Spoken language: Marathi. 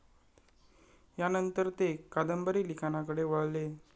यानंतर ते कादंबरी लिखाणाकडे वळले.